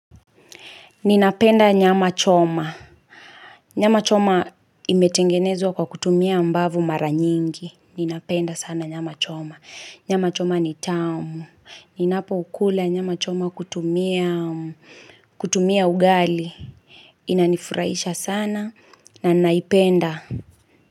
Ninapenda nyama choma. Nyama choma imetengenezwa kwa kutumia mbavu mara nyingi. Ninapenda sana nyama choma. Nyama choma ni tamu. Ninapo kula nyama choma kutumia ugali. Inanifurahisha sana na naipenda.